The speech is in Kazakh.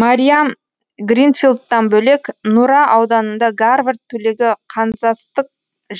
мариам гринфилдтан бөлек нұра ауданында гарвард түлегі канзастық